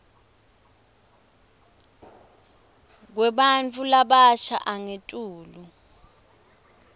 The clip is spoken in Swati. kwebantfu labasha angetulu